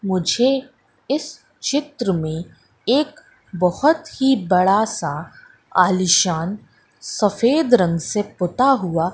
मुझे इस चित्र में एक बहोत ही बड़ा सा आलीशान सफेद रंग से पुता हुआ--